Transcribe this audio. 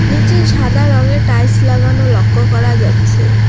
নিচে সাদা রংয়ের টাইলস লাগানো লক্ষ করা যাচ্ছে।